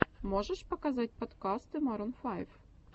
можешь показать подкасты марун файв